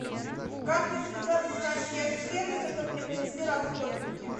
как мне связаться с консьерж сервисом чтобы мне принесли расходники